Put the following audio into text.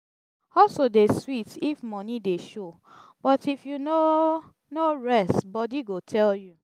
hustle dey sweet if money dey show but if you no no rest body go tell you